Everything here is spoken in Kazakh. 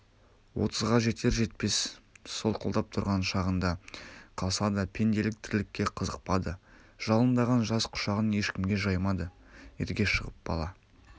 отызға жетер-жетпес солқылдап тұрған шағында қалса да пенделік тірлікке қызықпады жалындаған жас құшағын ешкімге жаймады ерге шығып бала